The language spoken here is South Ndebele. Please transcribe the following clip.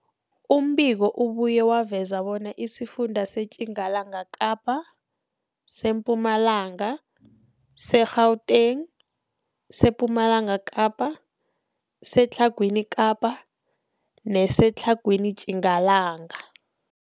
Umbiko ubuye waveza bona isifunda seTjingalanga Kapa, seMpumalanga, seGauteng, sePumalanga Kapa, seTlhagwini Kapa neseTlhagwini Tjingalanga.